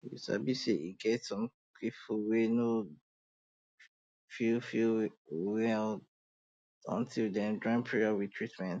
you sabi say e get some people wey no go feel feel well until dem join prayer with treatment